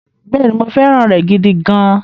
Bẹ́ẹ̀ni, mo fẹ́ràn rẹ̀ gidi gan-an.